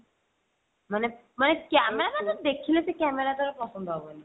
ମାନେ ମାନେ camera ମାନେ ଦେଖିଲେ ସେ camera ପସନ୍ଦ ହବନି